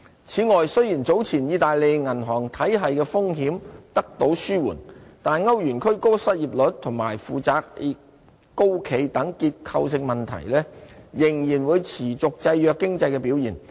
此外，雖然早前意大利銀行體系的風險得到紓緩，但歐元區高失業率及負債高企等結構性問題，仍然會持續制約經濟表現。